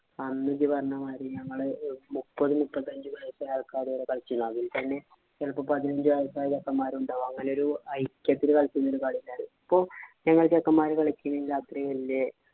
അന്ന് ജ്ജ് പറഞ്ഞ മാതിരി ഞങ്ങള് മുപ്പത് മുപ്പത്തഞ്ചു വയസുള്ള ആള്‍ക്കാര് വരെ കളിച്ചിരുന്നു. അതില്‍ തന്നെ ചെലപ്പോ പതിനഞ്ചു വയസായ ചെക്കന്മാര് ഉണ്ടാകും. ഒരു ഐക്യത്തില് കളിച്ചിരുന്ന ഒരു കളി ഇപ്പൊ ഞങ്ങള് ചെക്കന്മാര് കളിക്കണ കളീല് അത്ര വലിയ